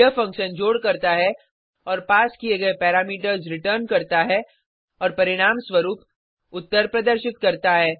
यह फंक्शन जोड करता है और पास किये गये पैरामीटर्स रिटर्न करता है और परिणामस्वरुप उत्तर प्रदर्शित करता है